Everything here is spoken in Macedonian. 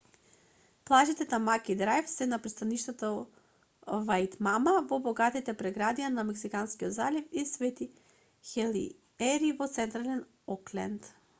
плажите тамаки драјв се на пристаништето ваитмата во богатите предградија на месинскиот залив и свети хелиери во централен окленд